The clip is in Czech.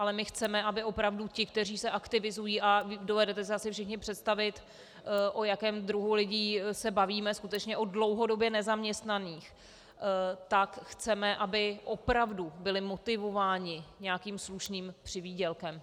Ale my chceme, aby opravdu ti, kteří se aktivizují - a dovedete si asi všichni představit, o jakém druhu lidí se bavíme, skutečně o dlouhodobě nezaměstnaných, tak chceme, aby opravdu byli motivováni nějakým slušným přivýdělkem.